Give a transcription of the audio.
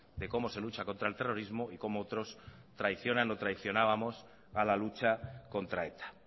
de cómo se lucha contra el terrorismo y cómo otros traicionan o traicionábamos a la lucha contra eta